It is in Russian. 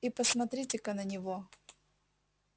и посмотрите-ка на него